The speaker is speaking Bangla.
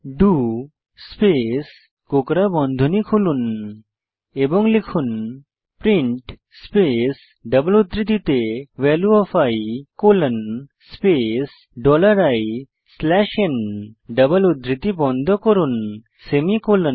ডো স্পেস কোঁকড়া বন্ধনী খুলুন এবং লিখুন প্রিন্ট স্পেস ডবল উদ্ধৃতিতে value of i colon space dollar i slash n double উদ্ধৃতি বন্ধনী বন্ধ করুন সেমিকোলন